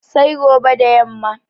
Sai gobe da yamma